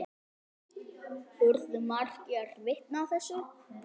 Urðu margir vitni að þessu.